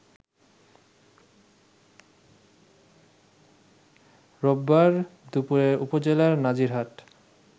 রোববার দুপুরে উপজেলার নাজিরহাট